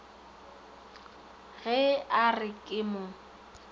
ge a re ke mo